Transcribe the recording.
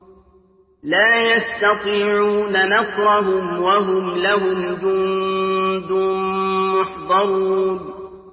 لَا يَسْتَطِيعُونَ نَصْرَهُمْ وَهُمْ لَهُمْ جُندٌ مُّحْضَرُونَ